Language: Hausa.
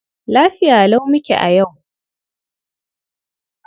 Lafiya lau muke a yau.